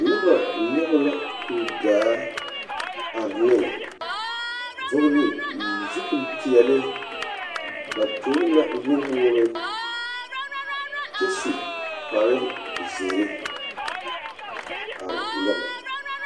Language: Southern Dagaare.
Noba nyͻge la kuri daa are ne, vͻgele zupili peԑle. Ba tuŋi la nu woore kyԑ su kpare zeere are nyͻge.